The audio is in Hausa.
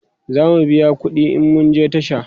zamu biya ƙuɗi in mun je tasha